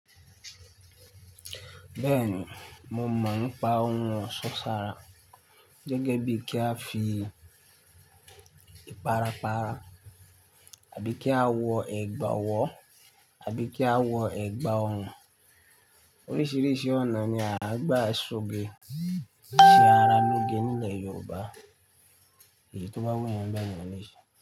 Bẹ́ẹ̀ni, mo mọ̀ nípa ohun ọ̀ṣọ́ sára gẹ́gẹ́ bí kí a fi para para àbí kí a wọ ẹgba ọwọ́ àbí kí a wọ ẹgba ọrùn. Oríṣìíríṣìí ọ̀nà ni a ń gbà ṣoge ṣe ara lóge nílẹ̀ Yorùbá è tó bá wù yẹn bẹ́ẹ̀ ni yẹn lèṣe.